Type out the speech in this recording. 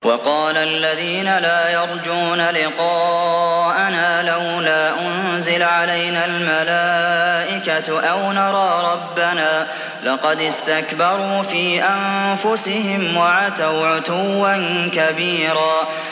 ۞ وَقَالَ الَّذِينَ لَا يَرْجُونَ لِقَاءَنَا لَوْلَا أُنزِلَ عَلَيْنَا الْمَلَائِكَةُ أَوْ نَرَىٰ رَبَّنَا ۗ لَقَدِ اسْتَكْبَرُوا فِي أَنفُسِهِمْ وَعَتَوْا عُتُوًّا كَبِيرًا